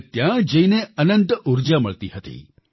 મને ત્યાં જઈને અનંત ઉર્જા મળતી હતી